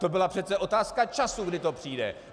To byla přece otázka času, kdy to přijde.